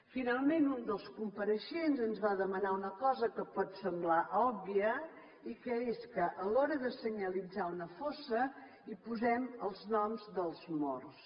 finalment un dels compareixents ens va demanar una cosa que pot semblar òbvia i que és que a l’hora de senyalitzar una fossa hi posem els noms dels morts